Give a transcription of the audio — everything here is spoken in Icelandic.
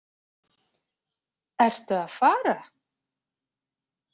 Ertu að fara?